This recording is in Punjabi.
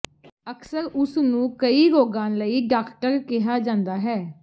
ਅਕਸਰ ਉਸਨੂੰ ਕਈ ਰੋਗਾਂ ਲਈ ਡਾਕਟਰ ਕਿਹਾ ਜਾਂਦਾ ਹੈ